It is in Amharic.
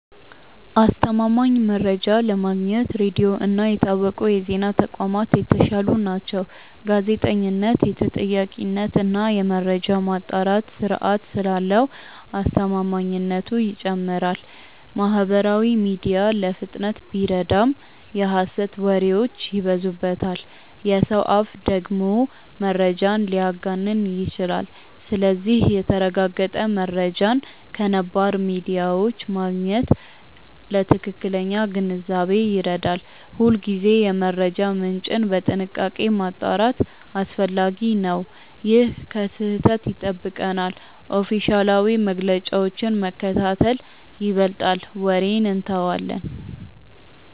አስተማማኝ መረጃ ለማግኘት ሬዲዮ እና የታወቁ የዜና ተቋማት የተሻሉ ናቸው። ጋዜጠኝነት የተጠያቂነት እና የመረጃ ማጣራት ስርዓት ስላለው አስተማማኝነቱ ይጨምራል። ማህበራዊ ሚዲያ ለፍጥነት ቢረዳም የሐሰት ወሬዎች ይበዙበታል። የሰው አፍ ደግሞ መረጃን ሊያጋንን ይችላል። ስለዚህ የተረጋገጠ መረጃን ከነባር ሚዲያዎች ማግኘት ለትክክለኛ ግንዛቤ ይረዳል። ሁልጊዜ የመረጃ ምንጭን በጥንቃቄ ማጣራት አስፈላጊ ነው። ይህ ከስህተት ይጠብቀናል። ኦፊሴላዊ መግለጫዎችን መከታተል ይበልጣል ወሬን እንተዋለን።